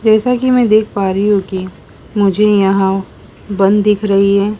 जैसा कि मैं देख पा रही हूं कि मुझे यहां बन दिख रही है।